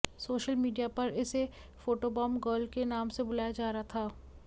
social media पर इसे photobomb girl के नाम से बुलाया जा रहा था